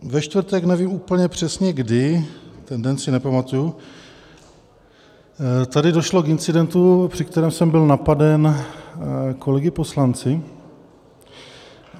Ve čtvrtek, nevím úplně přesně kdy, ten den si nepamatuji, tady došlo k incidentu, při kterém jsem byl napaden kolegy poslanci.